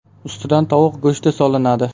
Ustidan tovuq go‘shti solinadi.